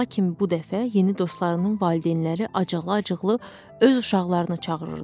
Lakin bu dəfə yeni dostlarının valideynləri acıqlı-acıqlı öz uşaqlarını çağırırdı.